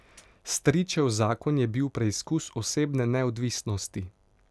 Stričev zakon je bil preizkus osebne neodvisnosti.